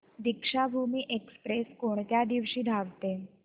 Deekshabhoomi express कोणत्या दिवशी धावते